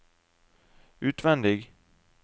utvendig